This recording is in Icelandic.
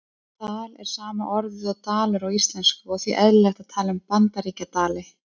Tal er sama orðið og dalur á íslensku og því eðlilegt að tala um Bandaríkjadali.